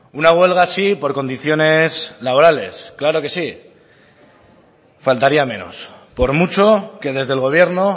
una huelga sí por condiciones laborales claro que sí faltaría menos por mucho que desde el gobierno